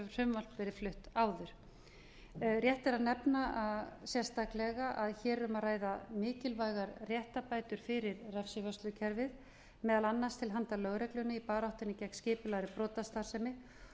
þetta verið flutt áður rétt er að nefna sérstaklega að hér er um að ræða mikilvægar réttarbætur fyrir refsivörslukerfið meðal annars til handa lögreglunni í baráttunni gegn skipulagðri brotastarfsemi